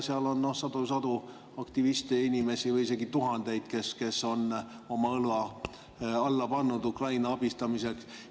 Seal on sadu inimesi või isegi tuhandeid, kes on oma õla alla pannud Ukraina abistamiseks.